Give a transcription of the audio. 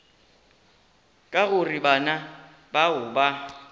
ka gore bana bao ba